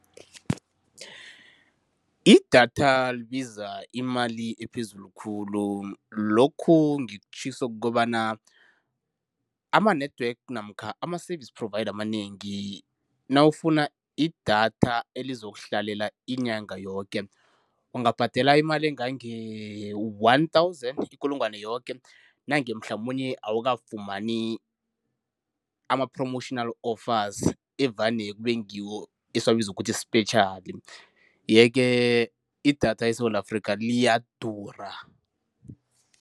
Idatha libiza imali ephezulu khulu. Lokhu ngikutjhiso kukobana ama-network namkha ama-service provider amanengi nawufuna idatha elizokuhlalela inyanga yoke, ungabhadela imali engange-one thousand, ikulungwane yoke nange mhlamunye awukafumani ama-promotional offers evane kube ngiwo esiwabiza ukuthi sipetjhali yeke idatha eSewula Afrika liyadura.